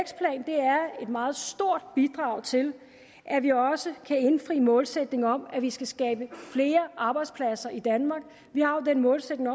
et meget stort bidrag til at vi også kan indfri målsætningen om at vi skal skabe flere arbejdspladser i danmark vi har jo den målsætning